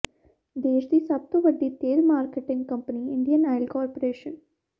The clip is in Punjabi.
ਦੇਸ਼ ਦੀ ਸਭ ਤੋਂ ਵੱਡੀ ਤੇਲ marketing company Indian Oil corporation